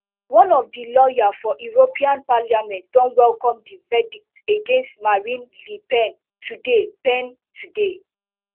one of di lawyers for european parliament don welcome di verdict against marine le pen today pen today